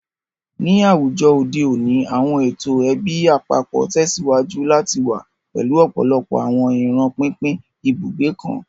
Ni awujọ ode oni, awọn eto ẹbi apapọ tẹsiwaju lati wa, pẹlu ọpọlọpọ awọn iran pinpin ibugbe kan.